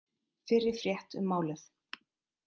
Fyrri frétt um málið